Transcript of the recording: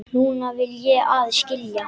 Núna vil ég aðeins skilja.